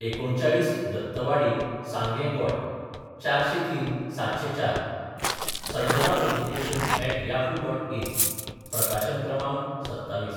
39, दत्तवाडी, सांगे-गोंय 403704 sanjanapublications@yahoo.in प्रकाशन क्रमांक: 27